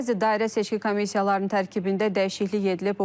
Bəzi dairə seçki komissiyalarının tərkibində dəyişiklik edilib.